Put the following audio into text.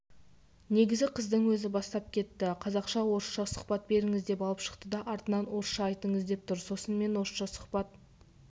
негізі қыздың өзі бастап кетті қазақша орысша сұхат беріңіз деп алып шықты да артынан орысшаайтыңыз деп тұр сосын мен орысша сұхбат